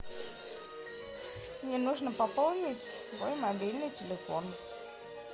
мне нужно пополнить свой мобильный телефон